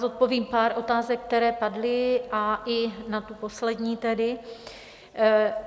Zodpovím pár otázek, které padly, a i na tu poslední tedy.